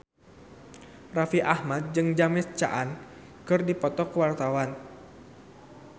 Raffi Ahmad jeung James Caan keur dipoto ku wartawan